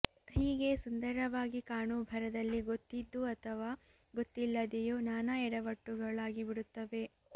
ಹೀಗೆ ಸುಂದರವಾಗಿ ಕಾಣೋ ಭರದಲ್ಲಿ ಗೊತ್ತಿದ್ದು ಅಥವಾ ಗೊತ್ತಿಲ್ಲದೇಯೋ ನಾನಾ ಎಡವಟ್ಟುಗಳಾಗಿಬಿಡುತ್ತವೆ